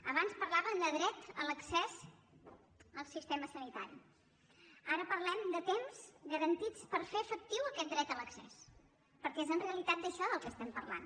abans parlàvem de dret a l’accés al sistema sanitari ara parlem de temps garantits per fer efectiu aquest dret a l’accés perquè és en realitat d’això del que estem parlant